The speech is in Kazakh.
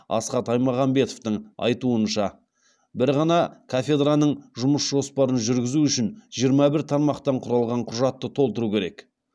асхат аймағамбетовтың айтуынша бір ғана кафедраның жұмыс жоспарын жүргізу үшін жиырма бір тармақтан құралған құжатты толтыру керек